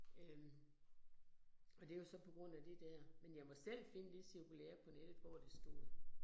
Øh. Og det jo så på grund af det der. Men jeg måtte selv finde det cirkulære på nettet, hvor det stod